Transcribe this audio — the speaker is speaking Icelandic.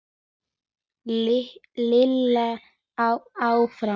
Lilla áfram.